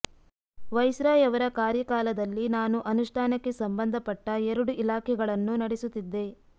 viceroy ಅವರ ಕಾರ್ಯ ಕಾಲದಲ್ಲಿ ನಾನು ಅನುಷ್ಠಾನಕ್ಕೆ ಸಂಬಂಧಪಟ್ಟ ಎರಡು ಇಲಾಖೆಗಳನ್ನು ನಡೆಸುತ್ತಿದ್ದೆ